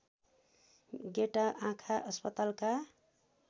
गेटा आँखा अस्पतालका